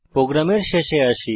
প্রোগ্রামের শেষে আসি